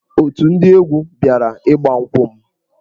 Otù ndị egwu bịara ịgba nkwụ m.